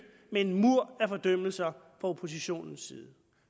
med en mur af fordømmelser fra oppositionens side